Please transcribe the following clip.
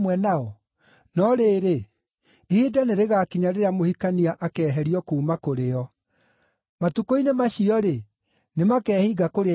No rĩrĩ, ihinda nĩrĩgakinya rĩrĩa mũhikania akeeherio kuuma kũrĩ o; matukũ-inĩ macio-rĩ, nĩ makeehinga kũrĩa irio.”